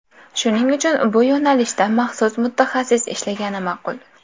Shuning uchun bu yo‘nalishda maxsus mutaxassis ishlagani ma’qul.